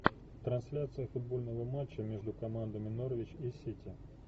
трансляция футбольного матча между командами норвич и сити